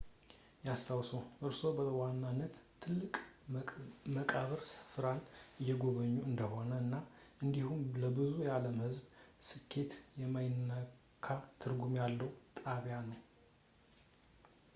ያስታውሱ እርስዎ በዋናነት ትልቅ የመቃብር ሥፍራን እየጎበኙ እንደሆነ እና እንዲሁም ለብዙ የዓለም ህዝብ በስሌት የማይለካ ትርጉም ያለው ጣቢያ ነው